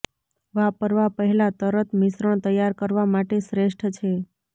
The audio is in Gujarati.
વાપરવા પહેલાં તરત મિશ્રણ તૈયાર કરવા માટે શ્રેષ્ઠ છે